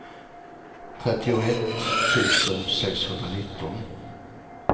trettioett tusen sexhundranitton